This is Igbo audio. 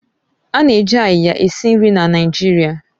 Ana eji áyiya esi nri na Naịjirịa